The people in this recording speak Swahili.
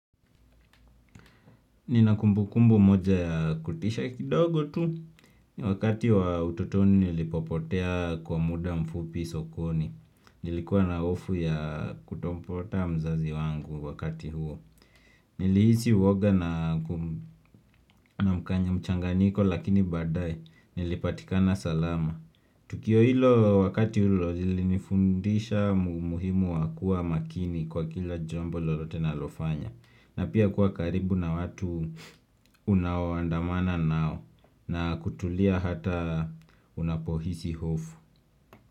Ninakumbukumbu moja ya kutisha kidogo tu, wakati wa ututoni nilipopotea kwa muda mfupi sokoni, nilikuwa na ofu ya kutopata mzazi wangu wakati huo Nilihisi uoga na mchanganyiko lakini baadae nilipatikana salama Tukio hilo wakati huo ulinifundisha muhimu wa kuwa makini kwa kila jambo lolote nalofanya na pia kuwa karibu na watu unaoandamana nao na kutulia hata unapohisi hofu.